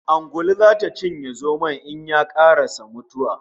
Ungulu zata cinye zomon in ye karasa mutuwa